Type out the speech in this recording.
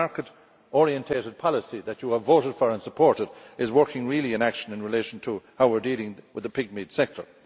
So the market orientated policy that you have voted for and supported is working in action in relation to how we are dealing with the pigmeat sector.